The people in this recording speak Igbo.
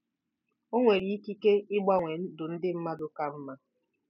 O nwere ikike ịgbanwe ndụ ndị mmadụ ka mma.